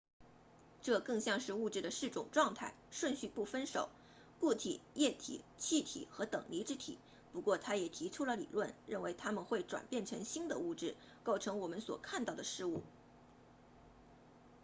这更像是物质的四种状态顺序不分手固体液体气体和等离子体不过他也提出了理论认为它们会转变成新的物质构成我们所看到的事物